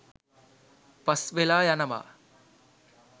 පස් වෙලා යනවා.